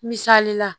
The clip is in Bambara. Misali la